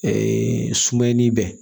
Ɛɛ sumani bɛ